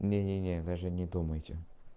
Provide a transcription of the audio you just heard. не не не даже не думайте